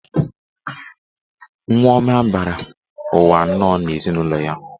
Nwa ọma bịara ụwa nnọọ n'ezinụlọ a.